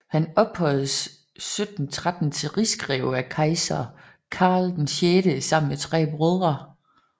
Han ophøjedes 1713 til rigsgreve af kejser Karl VI sammen med tre brødre